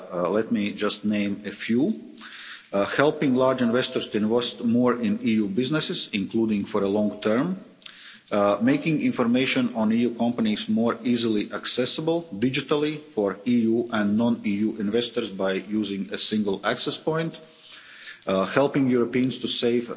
Let me just name a few helping large investors to invest more in EU businesses, including for the long term making information on EU companies more easily accessible digitally for EU and non EU investors by using a single access point helping Europeans